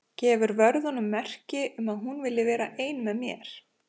Gefur vörðunum merki um að hún vilji vera ein með mér.